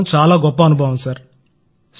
చాలా గొప్ప అనుభవం ప్రధానమంత్రి గారూ